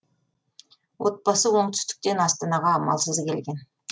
отбасы оңтүстіктен астанаға амалсыз келген